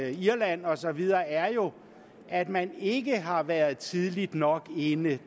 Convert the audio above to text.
irland og så videre er jo at man ikke har været tidligt nok inde det